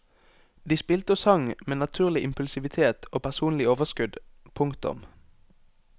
De spilte og sang med naturlig impulsivitet og personlig overskudd. punktum